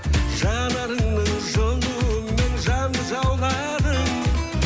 жанарыңның жылуымен жанды жауладың